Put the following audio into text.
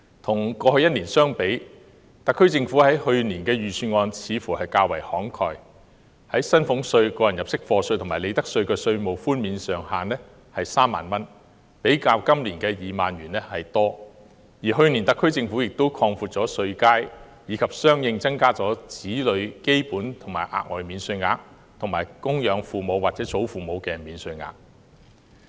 與去年相比，特區政府去年的預算案似乎較為慷慨，薪俸稅、個人入息課稅及利得稅的稅務寬免上限為3萬元，較今年的2萬元為多，而去年特區政府亦擴闊稅階，以及相應增加子女基本及額外免稅額，以及供養父母或祖父母的免稅額。